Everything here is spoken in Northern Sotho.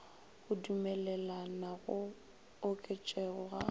go dumelela go oketšego ga